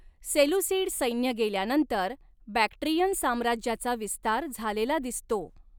Seleucid सैन्य गेल्यानंतर Bactrian साम्राज्याचा विस्तार झालेला दिसतो.